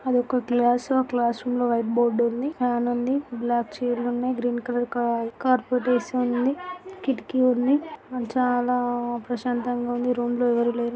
ఆదిఒక class room . Class room లో white board ఉంది. Fan ఉంది. బ్లాక్ చైర్స్ ఉన్నాయి. గ్రీన్ కలర్ కార్పెట్ వేసి ఉంది. కిటికి ఉన్నాయి. చాలా ప్రశాంతంగా ఉంది .ఈ రూం లో ఎవరు లేరు.